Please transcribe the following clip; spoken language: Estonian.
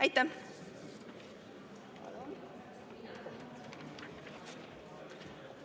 Aitäh!